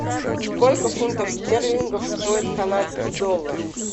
сколько фунтов стерлингов стоит канадский доллар